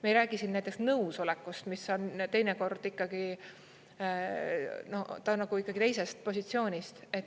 Me ei räägi siin näiteks nõusolekust, mis on teinekord ikkagi, ta on nagu teisest positsioonist.